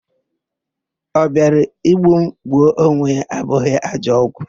Ọ bịara igbu m, gbuo onwe ya abụghị ajọ ọgwụ.